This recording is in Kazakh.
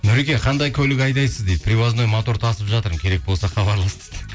нұреке қандай көлік айдайсыз дейді привозной мотор тасып жатырмын керек болса хабарлас дейді